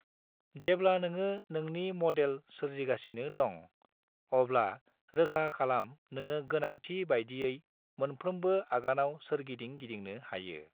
जेब्ला नोङो नोंनि मदेल सोरजिगासिनो दं, अब्ला रोखा खालाम नोङो गोनांथि बायदियै मोनफ्रोमबो आगानाव सोरगिदिं गिदिंनो हायो।